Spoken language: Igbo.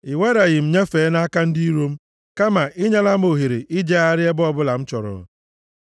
I wereghị m nyefee nʼaka ndị iro m, kama i nyela m ohere ijegharị ebe ọbụla m chọrọ.